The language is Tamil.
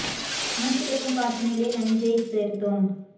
மூச்சிழுக்கும் காற்றினிலே நஞ்சை சேர்த்தோம்